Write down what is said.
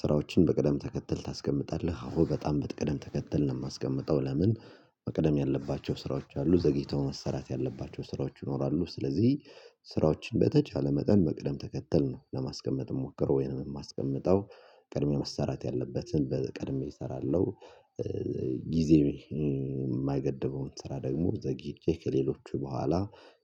ስራዎችን በቅደም ተከተል ታስቀምጣለህ አሁን በጣም ብትቀደም ተከተል ነው የማስቀምጠው ለምን መቅደም ያለባቸው ስራዎች አሉ ዘግይተው መሰራት ያለባቸው ስራዎች ይኖራሉ። ስለዚህ ስራዎችን በተቻለ መጠን በቅደም ተከተል ነው ለማስቀመጥ ሞክሮ ወይንም የማስቀምጠው ቀድሜ መሰራት ያለበትን ቀድሜ እሰራለሁ። ጊዜ የማይገድበውን ስራ ደግሞ ዘግይቼ ከሌሎች በኋላ